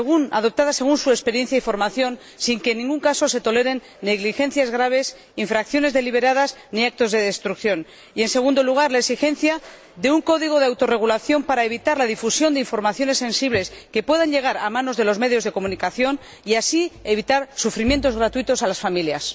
adoptadas según su experiencia y formación, sin que en ningún caso se toleren negligencias graves, infracciones deliberadas, ni actos de destrucción, y, en segundo lugar, la exigencia de un código de autorregulación para evitar la difusión de informaciones sensibles que puedan llegar a manos de los medios de comunicación, y así evitar sufrimientos gratuitos a las familias.